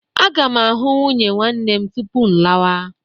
Aga m ahụ nwunye nwanne m tupu m lawa.